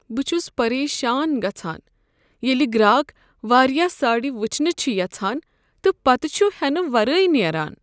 بہ چھُس پریشان گژھان ییلِہ گراکھ واریاہ ساڑِ وچھنِہ چھ یژھان تہٕ پتہٕ چھ ہینہٕ ورٲیی نیران۔